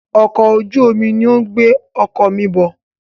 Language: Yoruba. Ọkọ̀ ojú omi ní o ń gbé ọkọ̀ mí bọ̀.